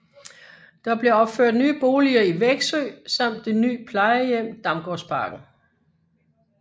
Der blev opført nye boliger i Veksø samt det ny plejehjem Damgårdsparken